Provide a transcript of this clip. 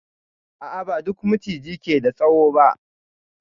A a, ba duk Maciji ke da tsawo ba.